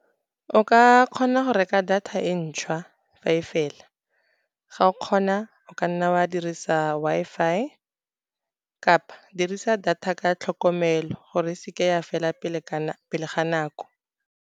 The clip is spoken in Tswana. O ka kgona go reka data e ntšhwa, fa e fela ga o kgona o ka nna wa dirisa Wi-Fi, kapa dirisa data ka tlhokomelo, gore e seke ya fela pele ga nako.